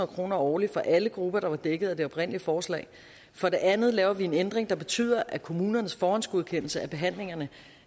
kroner årligt for alle grupper der var dækket af det oprindelige forslag for det andet laver vi en ændring der betyder at kommunernes forhåndsgodkendelse af behandlinger